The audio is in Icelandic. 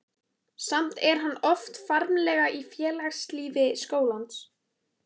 Samt er hann oft framarlega í félagslífi skólans.